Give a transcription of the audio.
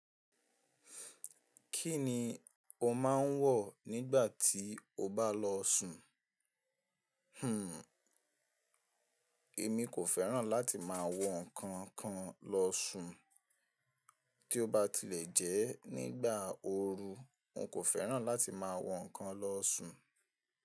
Kí ni o máa ń wọ̀ nígbà tí o bá lọ sùn? Hmm, èmi kò fẹ́ràn láti máa wọ ǹkan kan lọ sùn. Tí ó bá ti lè jẹ́ nígbà ooru, n kò fẹ́ràn láti máa wọ nǹkan lọ sùn.